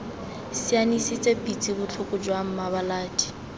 sianisitse pitse botlhoko jaana mmalabadi